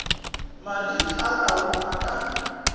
mariri a tau a ka